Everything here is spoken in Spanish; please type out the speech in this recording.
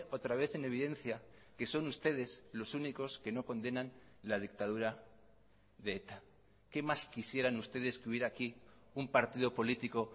otra vez en evidencia que son ustedes los únicos que no condenan la dictadura de eta qué más quisieran ustedes que hubiera aquí un partido político